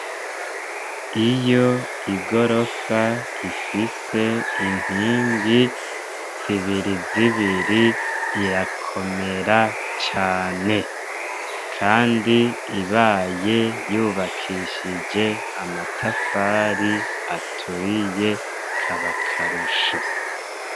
Iyo igorofa ifise inkingi zibiri zibiri irakomera cane, kandi ibaye yubakishije amatafari aturiye kab'akarusho.